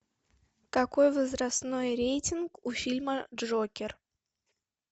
какой возрастной рейтинг у фильма джокер